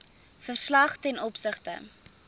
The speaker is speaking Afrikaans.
verslag ten opsigte